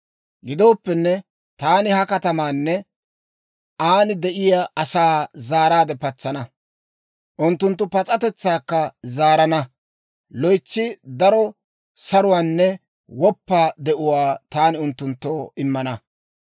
«Gidooppenne, taani ha katamaanne an de'iyaa asaa zaaraadde patsana; unttunttu pas'atetsaakka zaarana; loytsi daro saruwaanne woppa de'uwaa taani unttunttoo immana.